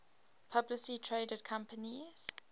publicly traded companies